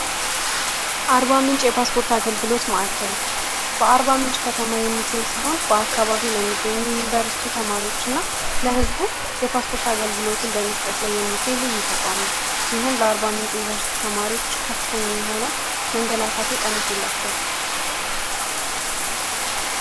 አርባ ምንጭ የፓስፖርት አገልግሎት ማዕከል በአርባ ምንጭ ከተማ የሚገኝ ሲሆን በአካባቢው ለሚገኙ ዩኒቨርሲቲ ተማሪዎች እና ለህዝቡ የፓስፖርት አገልግሎትን በምስጠት ላይ የሚገኝ ልዩ ተቋም ነው። ይህም ለአር0 ምንጭ ዩኒቨርስቲ ተማሪዎች ከፍተኛ የሆነ መንገላታትን ቀንሶላቸዋል።